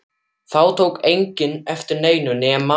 Þá tók enginn eftir neinu nema